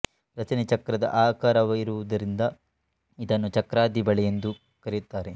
ರಚನೆ ಚಕ್ರದ ಆಕಾರವಾಗಿರುವುದರಿಂದ ಇದನ್ನು ಚಕ್ರಾದಿ ಬಳೆ ಎಂದು ಕರೆಯುತ್ತಾರೆ